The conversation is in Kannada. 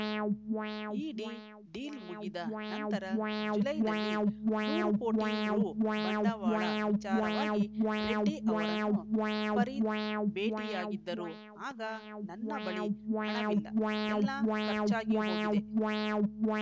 ಇಡಿ ಡೀಲ್‌ ಮುಗಿದ ನಂತರ ಜುಲೈನಲ್ಲಿ ನೂರು ಕೋಟಿ ರು ಬಂಡವಾಳ ವಿಚಾರವಾಗಿ ರೆಡ್ಡಿ ಅವರನ್ನು ಫರೀದ್‌ ಭೇಟಿಯಾಗಿದ್ದರು ಆಗ ನನ್ನ ಬಳಿ ಹಣವಿಲ್ಲ ಎಲ್ಲಾ ಖರ್ಚಾಗಿಹೋಗಿದೆ